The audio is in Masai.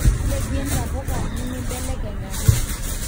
lepie ntapuka nimibelekeny ake